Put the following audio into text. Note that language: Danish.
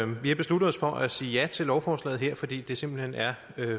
vi har besluttet os for at sige ja til lovforslaget her fordi det simpelt hen er